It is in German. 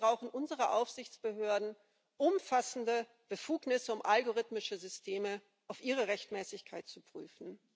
Deswegen brauchen unsere Aufsichtsbehörden umfassende Befugnisse, um algorithmische Systeme auf ihre Rechtmäßigkeit zu prüfen.